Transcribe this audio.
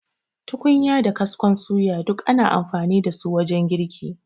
Tukunya da kaskon suya, duk ana amfani da su wajen girki.